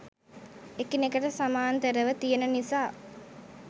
එකිනෙකට සමාන්තරව තියෙන නිසා